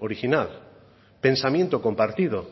original pensamiento compartido